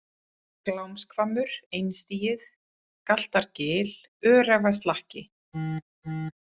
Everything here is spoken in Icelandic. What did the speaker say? Glámshvammur, Einstigið, Galtargil, Öræfaslakki